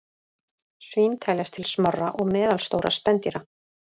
Svín teljast til smárra og meðalstórra spendýra.